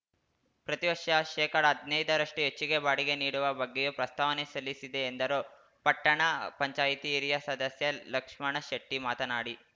ಪ್ರತಿವರ್ಷ ಶೇಕಡಹದ್ನೈದರಷ್ಟುಹೆಚ್ಚಿಗೆ ಬಾಡಿಗೆ ನೀಡುವ ಬಗ್ಗೆಯೂ ಪ್ರಸ್ತಾವನೆ ಸಲ್ಲಿಸಿದೆ ಎಂದರು ಪಟ್ಟಣ ಪಂಚಾಯಿತಿ ಹಿರಿಯ ಸದಸ್ಯ ಲಕ್ಷ್ಮಣ ಶೆಟ್ಟಿಮಾತನಾಡಿ